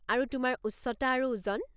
আৰু তোমাৰ উচ্চতা আৰু ওজন।